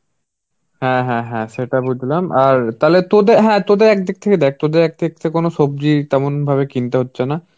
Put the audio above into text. হ্যাঁ হ্যাঁ হ্যা সেটা বুঝলাম. আর তাহলে তোদের হ্যাঁ তোদের একদিক থেকে দেখ তোদের এক দিক থেকে কোন সবজি তেমন ভাবে কিনতে হচ্ছে না.